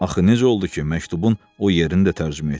Axı necə oldu ki, məktubun o yerini də tərcümə etdi?